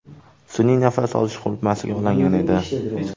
Sun’iy nafas olish qurilmasiga ulangan edi.